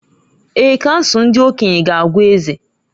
Èè, Kansụl ndị okenye ga-agwa eze.